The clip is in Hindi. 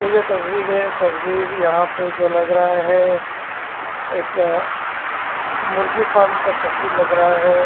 ये जो तस्बीर है तस्बीर यहाँ पे जो लग रहा है एक मुर्गी फार्म का तस्बीर लग रहा है ।